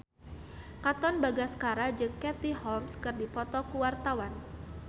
Katon Bagaskara jeung Katie Holmes keur dipoto ku wartawan